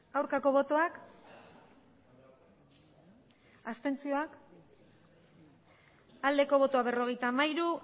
aurkako botoak abstentzioa berrogeita hamairu